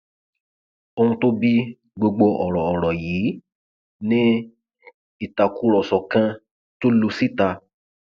ohun tó bí gbogbo ọrọ ọrọ yìí ni ìtàkùrọsọ kan tó lu síta